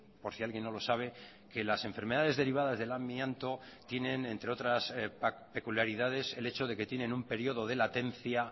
por si alguien no lo sabe que las enfermedades derivadas del amianto tienen entre otras peculiaridades el hecho de que tienen un periodo de latencia